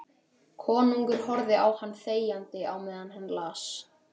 Konungur horfði á hann þegjandi á meðan hann las